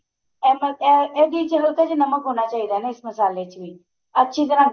ਇਹ ਇਹਦੇ ਚ ਹਲਕਾ ਜਾ ਨਮਕ ਹੋਣਾ ਚਾਹੀਦਾ ਨਾ ਇਸ ਮਸਾਲੇ ਚ ਵੀ ਅੱਛੀ ਤਰ੍ਹਾਂ